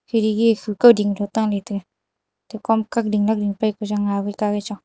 khedki e kauding phai tahley taga atte kom kak ding lak ding paipa za ga ka wai chong.